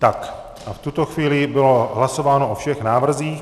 Tak a v tuto chvíli bylo hlasováno o všech návrzích.